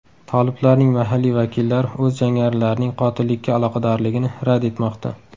Toliblarning mahalliy vakillari o‘z jangarilarining qotillikka aloqadorligini rad etmoqda.